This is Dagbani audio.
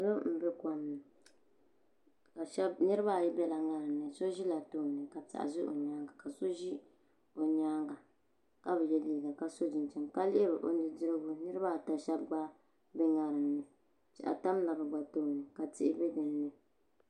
Salo n bɛ kom ni niraba ayi biɛla ŋarim ni so ʒila tooni ka so ʒi o nyaanga ka bi yɛ liiga ka so chinchini ka lihiri o nudirigu niraba ata shab gba ʒila dinni piɛɣu tamla bi gba tooni ka tihi bɛ dinni